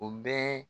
O bɛɛ